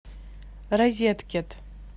розеткед